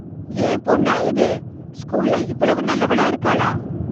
என் பொண்ணா இது ஸ்கூல்ல இவ்வளவு நல்லவளா இருக்களா!